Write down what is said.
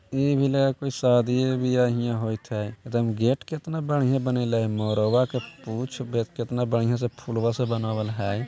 इ भी लगे हे कोई शादीये -ब्याह हियां होएत है एकदम गेट केतना बढ़ियाँ बनेला है मोरवा के पुंछ देख केतना बढ़ियाँ से फुलवा से बनावल है।